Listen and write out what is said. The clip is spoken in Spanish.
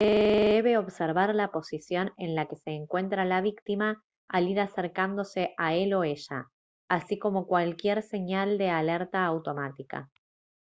debe observar la posición en la que se encuentra la víctima al ir acercándose a él o ella así como cualquier señal de alerta automática